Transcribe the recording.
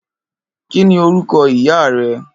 Kini órúkò ìyá rè?